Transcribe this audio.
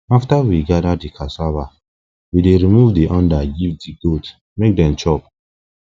after we gather di cassava we dey remove di under give di goats make dem chop